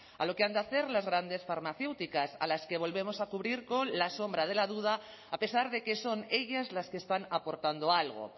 a lo que han de hacer las grandes farmacéuticas a las que volvemos a cubrir con la sombra de la duda a pesar de que son ellas las que están aportando algo